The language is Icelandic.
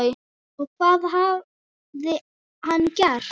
Og hvað hafði hann gert?